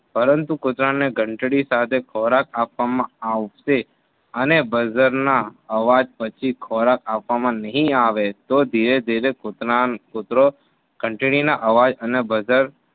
પરંતુ કૂતરાને ઘંટડી સાથે ખોરાક આપવામાં આવશે અને બજારના અવાજ પછી ખોરાક આપવામાં નહિ આવે તો ધીરે ધીરે કૂતરો ઘંટડીના અવાજ અને બઝર